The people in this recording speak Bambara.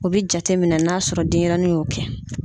O be jateminɛ n'a y'a sɔrɔ denyɛrɛnin y'o kɛ.